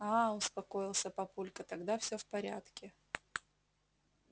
аа успокоился папулька тогда всё в порядке